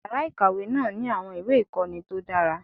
Yàrá ìkàwé náà ní àwọn ìwé ìkọ́ni tó dára.